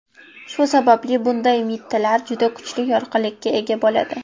Shu sababli bunday mittilar juda kuchli yorqinlikka ega bo‘ladi.